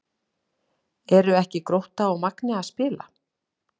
Eru ekki Grótta og Magni að spila?